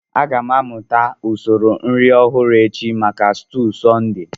Aga m amụta usoro nri ọhụrụ echi maka stuu Sunday